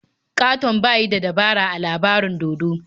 Ƙaton ba yi dabara ba a labarin dodo.